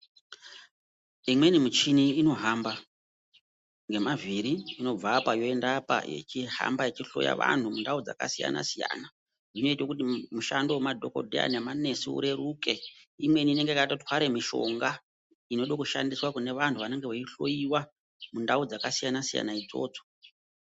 Imweni michina inohamba nemavhiri inobvapa ichienda apa inohamba ichihloya antu dzakasiyana siyana inoita kuti mishando yemadhokodheya nemanesi ireruke imweni inenge yakatwara mishonga inoda kushandiswa kuvantu vanoda kuhloiwa mundau dzakasiyana idzodzo.